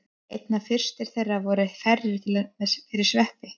Einna fyrstar þeirra voru ferjur fyrir sveppi.